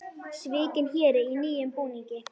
Svikinn héri í nýjum búningi